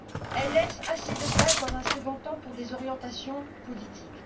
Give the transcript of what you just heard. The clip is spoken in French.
Elle laisse assez de place, dans un second temps, pour des orientations politiques.